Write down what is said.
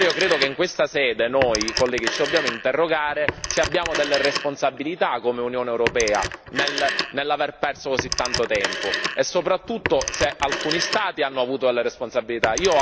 Allora io credo che in questa sede noi, colleghi, ci dobbiamo interrogare se abbiamo delle responsabilità, come Unione europea, nell'aver perso così tanto tempo, e soprattutto se alcuni Stati hanno avuto delle responsabilità.